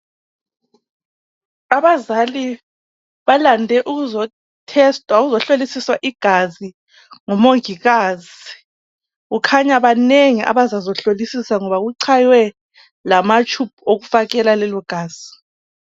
Abazali balande ukuzo tester ukuhlolisisa igazi ngomongikazi kukhanya banengi abazazohlolisisa ngoba kuchaywe lama tube okufakela lelogazi